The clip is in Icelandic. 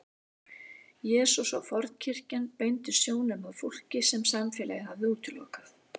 Jesús og fornkirkjan beindu sjónum að fólki sem samfélagið hafði útilokað.